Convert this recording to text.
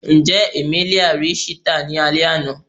Njẹ Emelia ri cheetah ni alẹ ana?